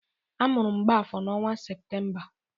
A mụrụ Mgbafor n'ọnwa Septemba.